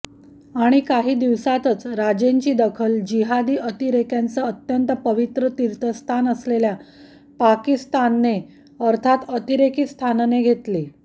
आणि काही दिवसातच राजेंची दखल जिहादी अतिरेक्यांचं अत्यंत पवित्र तीर्थस्थान असलेल्या पाकीस्थानने अर्थात अतिरेकीस्थानने घेतली